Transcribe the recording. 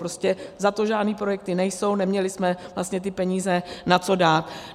Prostě za to žádné projekty nejsou, neměli jsme vlastně ty peníze na co dát.